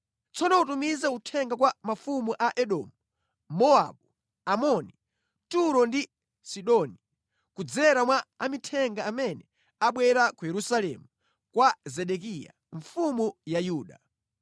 Tsono utumize uthenga kwa mafumu a Edomu, Mowabu, Amoni, Turo ndi Sidoni kudzera mwa amithenga amene abwera ku Yerusalemu kwa Zedekiya, mfumu ya Yuda.